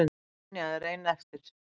Tanya er ein eftir.